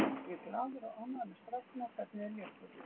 Ég er glaður og ánægður með strákana og hvernig þeir léku.